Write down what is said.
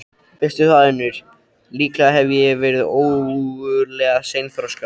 Veistu það, Unnur, líklega hef ég verið ógurlega seinþroska.